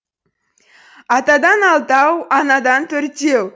атадан алтау анадан төртеу